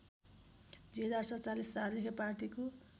२०४७ सालदेखि पार्टीको